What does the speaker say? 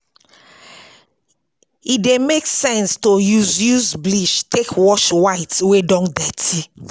E dey make sense to use use bleach take wash white wey don dirty